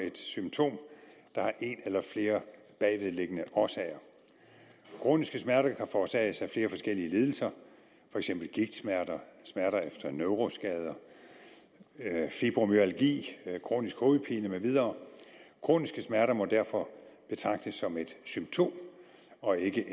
et symptom der har en eller flere bagvedliggende årsager kroniske smerter kan forårsages af flere forskellige lidelser for eksempel gigtsmerter smerter efter neuroskader fibromyalgi kronisk hovedpine med mere kroniske smerter må derfor betragtes som et symptom og ikke